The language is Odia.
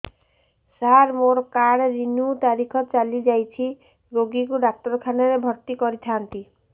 ସାର ମୋର କାର୍ଡ ରିନିଉ ତାରିଖ ଚାଲି ଯାଇଛି ରୋଗୀକୁ ଡାକ୍ତରଖାନା ରେ ଭର୍ତି କରିଥାନ୍ତି